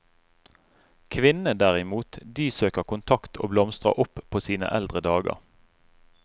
Kvinnene derimot, de søker kontakt og blomstrer opp på sine eldre dager.